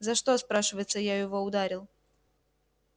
за что спрашивается я его ударил